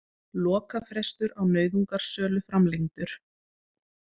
Lokafrestur á nauðungarsölu framlengdur